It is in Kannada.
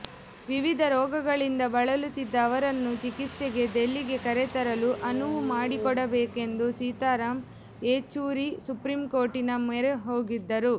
ವಿವಿಧ ರೋಗಗಳಿಂದ ಬಳಲುತ್ತಿದ್ದ ಅವರನ್ನು ಚಿಕಿತ್ಸೆಗೆ ದಿಲ್ಲಿಗೆ ಕರೆತರಲು ಅನುವು ಮಾಡಿಕೊಡಬೇಕೆಂದು ಸೀತಾರಾಂ ಯೆಚೂರಿ ಸುಪ್ರೀಂಕೋರ್ಟಿನ ಮೊರೆ ಹೋಗಿದ್ದರು